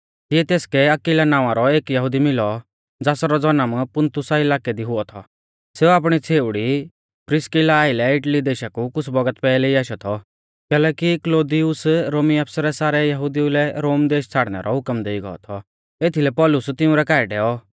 तिऐ तेसकै अक्विला नावां रौ एक यहुदी मिलौ ज़ासरौ जनम पुन्तुसा इलाकै दी हुऔ थौ सेऊ आपणी छ़ेउड़ी प्रिस्किला आइलै इटली देशा कु कुछ़ भौगत पैहलै ई आशौ थौ कैलैकि क्लौदियुस रोमी आफसरै सारै यहुदिऊ लै रोम देश छ़ाड़नै रौ हुकम देई गौ थौ एथीलै पौलुस तिंउरै काऐ डैऔ